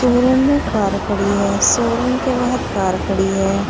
Showroom में car खड़ी है शोरूम के बाहर कार खड़ी है।